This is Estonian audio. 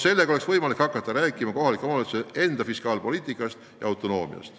Sel juhul oleks võimalik hakata rääkima kohaliku omavalitsuse enda fiskaalpoliitikast ja -autonoomiast.